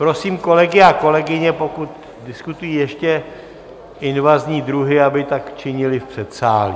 Prosím kolegy a kolegyně, pokud diskutují ještě invazní druhy, aby tak činili v předsálí.